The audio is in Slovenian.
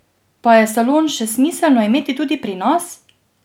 Pa je salon še smiselno imeti tudi pri nas?